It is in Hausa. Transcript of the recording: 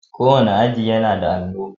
Kowanne aji yAnada alo